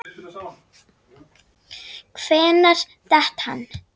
Hvenær datt hann?